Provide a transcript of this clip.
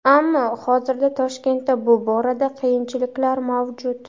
Ammo hozirda Toshkentda bu borada qiyinchiliklar mavjud.